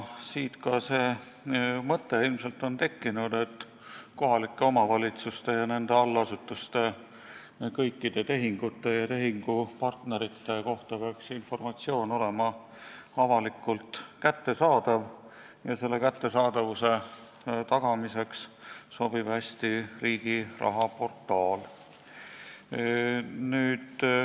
Siit on ilmselt tekkinud ka see mõte, et informatsioon kohalike omavalitsuste ja nende allasutuste kõikide tehingute ja tehingupartnerite kohta peaks olema avalikult kättesaadav ning selle kättesaadavuse tagamiseks sobib hästi Riigiraha portaal.